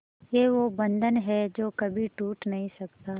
ये वो बंधन है जो कभी टूट नही सकता